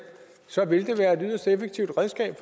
så ville det være et yderst effektivt redskab